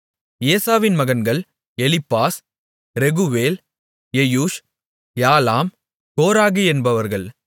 ஏசாவின் மகன்கள் எலிப்பாஸ் ரெகுவேல் எயூஷ் யாலாம் கோராகு என்பவர்கள்